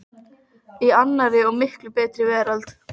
í annarri og miklu betri veröld.